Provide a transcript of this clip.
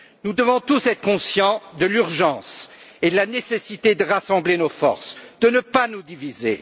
Nous devons tous être conscients de l'urgence et de la nécessité de rassembler nos forces et de ne pas nous diviser.